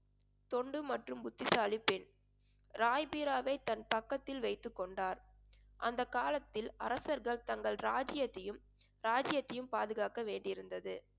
தொண்டு மற்றும் புத்திசாலிப் பெண் ராய்பிராவை தன் பக்கத்தில் வைத்துக் கொண்டார் அந்த காலத்தில் அரசர்கள் தங்கள் ராஜ்யத்தையும் ராஜ்யத்தையும் பாதுகாக்க வேண்டியிருந்தது